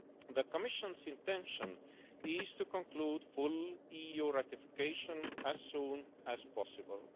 The Commission's intention is to conclude full EU ratification as soon as possible.